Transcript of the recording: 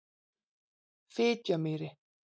Fitjamýri